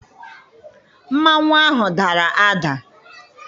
Mmanwụ ahụ dara ada.